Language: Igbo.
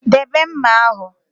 Debe mma ahụ!